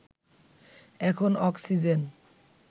এখন অক্সিজেন